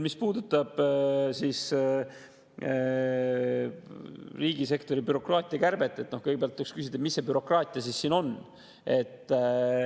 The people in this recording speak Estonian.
Mis puudutab riigisektori bürokraatia kärbet, siis kõigepealt võiks küsida, mis see bürokraatia siin siis on.